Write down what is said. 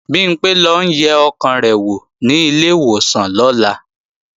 Bimpé ń lọ yẹ ọkàn rẹ̀ wò ní ilé ìwòsàn lọ́la